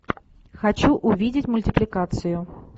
хочу увидеть мультипликацию